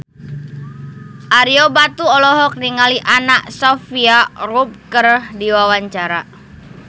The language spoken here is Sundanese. Ario Batu olohok ningali Anna Sophia Robb keur diwawancara